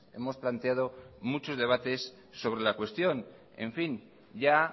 hemos planteado muchos debates sobre la cuestión en fin ya